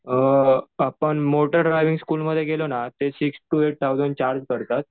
अ आपण motor driving स्कुलमध्ये गेलं ना ते six to eight thousand charge पडतात.